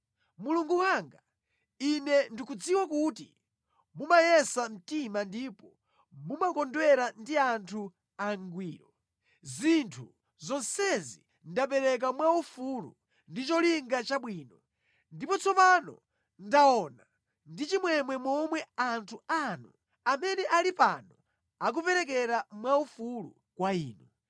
Mulungu wanga, ine ndikudziwa kuti mumayesa mtima ndipo mumakondwera ndi anthu angwiro. Zinthu zonsezi ndapereka mwaufulu ndi cholinga chabwino. Ndipo tsopano ndaona ndi chimwemwe momwe anthu anu amene ali pano akuperekera mwaufulu kwa Inu.